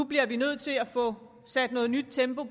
bliver nødt til at få sat et nyt tempo